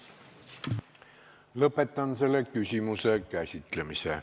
Lõpetan selle küsimuse käsitlemise.